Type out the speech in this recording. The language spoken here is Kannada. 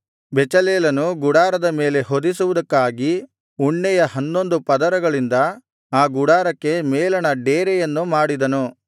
ಬೆಚಲೇಲನು ಗುಡಾರದ ಮೇಲೆ ಹೊದಿಸುವುದಕ್ಕಾಗಿ ಉಣ್ಣೆಯ ಹನ್ನೊಂದು ಪರದೆಗಳಿಂದ ಆ ಗುಡಾರಕ್ಕೆ ಮೇಲಣ ಡೇರೆಯನ್ನು ಮಾಡಿದನು